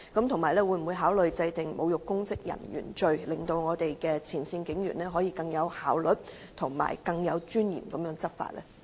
此外，會否考慮制定"侮辱公職人員罪"，令我們的前線警員可以更有效率和更有尊嚴地執法？